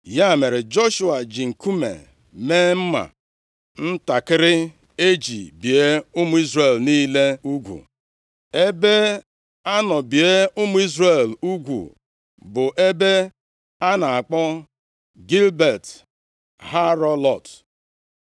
Ya mere, Joshua ji nkume mee mma ntakịrị e ji bie ụmụ Izrel niile ugwu. Ebe a nọ bie ụmụ Izrel ugwu bụ ebe a na-akpọ Gibịat Haaralot.